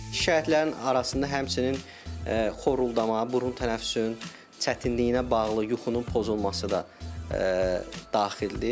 Şikayətlərin arasında həmçinin xoruldamə, burun tənəffüsünün çətinliyinə bağlı yuxunun pozulması da daxildir.